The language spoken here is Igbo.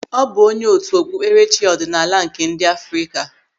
Ọ bụ onye otu okpupkerechi ọdịnala nke ndị Afrịka.